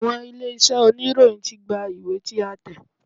Àwọn ilé-iṣẹ́ oníròyìn ti gba ìwé tí a tẹ̀.